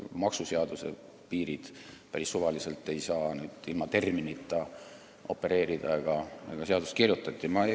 Ja me ei saa päris suvaliselt ilma terminiteta opereerida ega seadusi kirjutada.